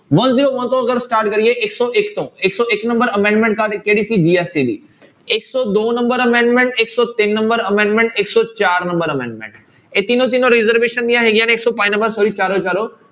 One zero one ਤੋਂ ਅਗਰ start ਕਰੀਏ ਇੱਕ ਸੌ ਇੱਕ ਤੋਂ ਇੱਕ ਸੌ ਇੱਕ number amendment ਕਾਹਦੀ ਕਿਹੜੀ ਸੀ GST ਦੀ ਇੱਕ ਸੌ ਦੋ number amendment ਇੱਕ ਸੌ ਤਿੰਨ number amendment ਇੱਕ ਸੌ ਚਾਰ number amendment ਇਹ ਤਿੰਨੋਂ ਤਿੰਨੋਂ reservation ਦੀਆਂ ਹੈਗੀਆਂ ਨੇ ਇੱਕ ਸੌ ਪੰਜ number sorry ਚਾਰੋ ਦੇ ਚਾਰੋ।